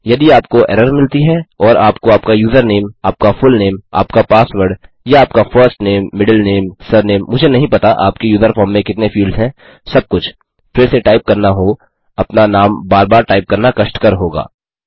यदि आपको एरर मिलती है और आपको आपका यूज़रनेम आपका फुलनेम आपका पासवर्ड या आपका फर्स्टनेम मिडलनेम सरनेम मुझे नहीं पता आपके यूजर फॉर्म में कितने फील्ड्स हैं सब कुछ फिर से टाइप करना हो अपना नाम बार बार टाइप करना कष्टकर होगा